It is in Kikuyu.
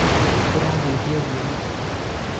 ũrahuhia ũguo nĩkĩ?